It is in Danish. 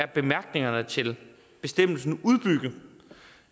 bemærkningerne til bestemmelsen blive udbygget